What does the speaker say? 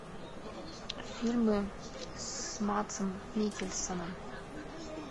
фильмы с мадсом миккельсеном